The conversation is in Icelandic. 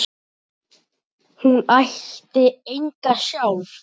Hún ætti enga sjálf.